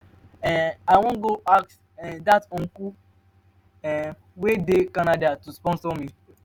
um i wan go ask um dat my uncle um wey dey canada to sponsor me.